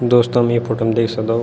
दोस्तों हम ये फोटो म देख सक्दो।